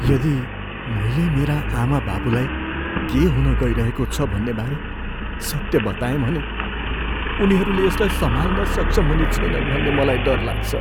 यदि मैले मेरा आमाबाबुलाई के हुनगइरहेको छ भन्ने बारे सत्य बताएँ भने, उनीहरूले यसलाई सम्हाल्न सक्षम हुने छैनन् भन्ने मलाई डर लाग्छ।